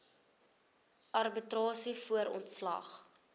arbitrasie voor ontslag